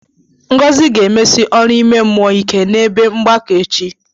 Ngozi ga-emesi ọrụ ime mmụọ ike n'ebe mgbakọ echi.